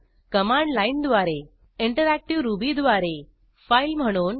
command लाईनद्वारे interactive Ruby द्वारे file म्हणून